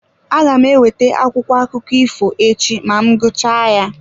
Aga m eweta akwụkwọ akụkọ ifo echi ma m gụchaa ya.